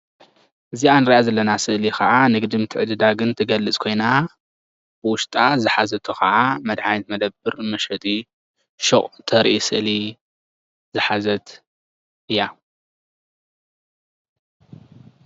እዚኣ እንሪኣ ዘለና ስእሊ ከዓ ንግድን ምትዕድዳግን እትገልፅ ኮይና ውሽጣ ዝሓዘቶ ከዓ መድሓኒት መደበር መሸጢ ሹቅ እተርኢ ስእሊ ዝሓዘት እያ፡፡